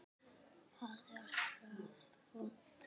Hvar er það vont?